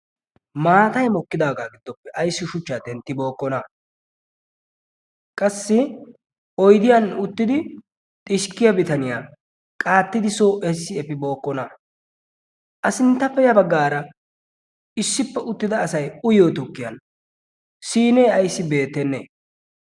maatay mokkidaagaa giddooppe issi shuchchaa tenttibookkona qassi oydiyan uttidi xishkkiya bitaniyaa qaattidi soo efi bookkona. a sinttappe ya baggaara issippe uttida asay uyyo tukkiyan sinee ayssi beettenne?